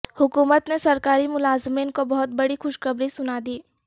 حکومت نے سرکاری ملازمین کو بہت بڑی خوشخبری سنا دی